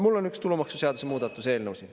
Mul on üks tulumaksuseaduse muudatuse eelnõu siin.